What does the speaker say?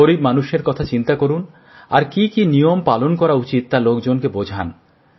গরিব মানুষের কথা চিন্তা করুন আর কি কি নিয়ম পালন করা উচিত তা লোকজনকে বোঝান